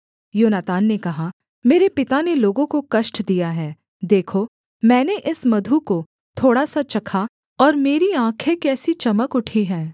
योनातान ने कहा मेरे पिता ने लोगों को कष्ट दिया है देखो मैंने इस मधु को थोड़ा सा चखा और मेरी आँखें कैसी चमक उठी हैं